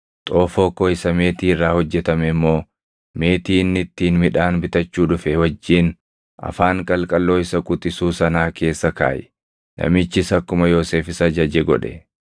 Xoofoo koo isa meetii irraa hojjetame immoo meetii inni ittiin midhaan bitachuu dhufe wajjin afaan qalqalloo isa quxisuu sanaa keessa kaaʼi.” Namichis akkuma Yoosef isa ajaje godhe.